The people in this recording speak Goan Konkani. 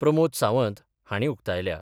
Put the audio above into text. प्रमोद सावंत हाणीं उक्तायल्या.